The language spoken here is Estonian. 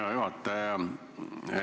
Hea juhataja!